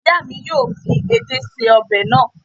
Ìyá mi yóò fi edé ṣe ọbẹ̀ náà